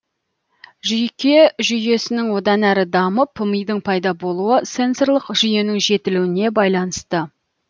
жүйке жүйесінің одан әрі дамып мидың пайда болуы сенсорлық жүйенің жетілуіне байланысты